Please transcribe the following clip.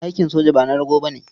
Aikin soja ba na rago ba ne.